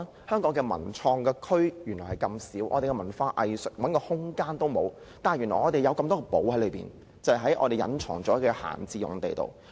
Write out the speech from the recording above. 香港的文創區這麼少，文化藝術團體想找一個空間也沒有，但原來我們有這麼多"寶藏"隱藏在閒置用地中。